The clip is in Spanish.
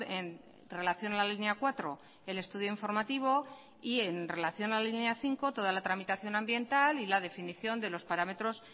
en relación a la línea cuatro el estudio informativo y en relación a la línea cinco toda la tramitación ambiental y la definición de los parámetros